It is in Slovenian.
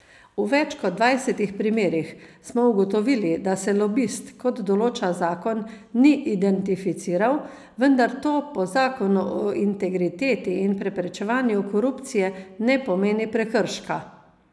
V več kot dvajsetih primerih smo ugotovili, da se lobist, kot določa zakon, ni identificiral, vendar to po zakonu o integriteti in preprečevanju korupcije ne pomeni prekrška.